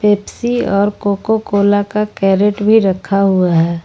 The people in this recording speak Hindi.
पेप्सी और कोको कोला का कैरेट भी रखा हुआ है।